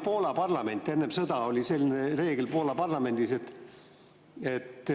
Enne sõda oli selline reegel Poola parlamendis, et